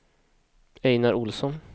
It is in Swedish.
Ejnar Ohlsson